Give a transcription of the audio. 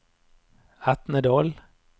Etnedal